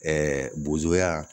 Ɛɛ bozoya